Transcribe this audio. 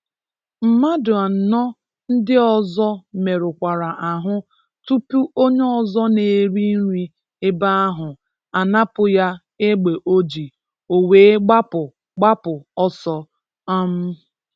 Mmadụ anọ ndị ọzọ merụkwara ahụ tupu onye ọzọ na-eri nri ebe ahụ a napụ ya egbe o ji, o wee gbapụ gbapụ ọsọ. um